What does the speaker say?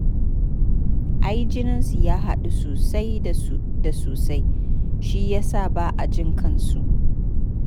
Ai jininsu ya haɗu sosai da sosai shi ya sa ba a jin kansu